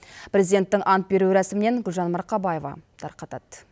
президенттің ант беру рәсімінен гүлжан марқабаева тарқатады